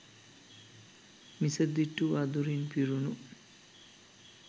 මිසදිටු අඳුරින් පිරුණ